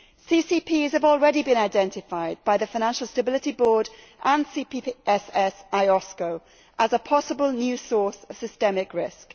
CCPs have already been identified by the Financial Stability Board and CPSS IOSCO as a possible new source of systemic risk.